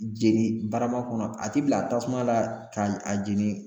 Jeni barama kɔnɔ a ti bila tasuma la ka a jeni.